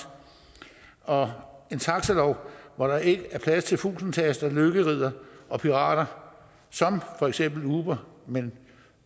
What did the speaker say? og en taxalov hvor der ikke er plads til fusentaster lykkeriddere og pirater som for eksempel uber men